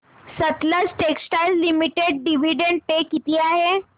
Sutlej textiles limited dividend pay किती आहे